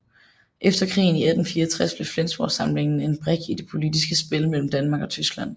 Efter krigen i 1864 blev Flensborgsamlingen en brik i det politiske spil mellem Danmark og Tyskland